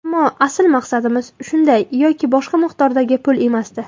Ammo asl maqsadimiz shunday yoki boshqa miqdordagi pul emasdi.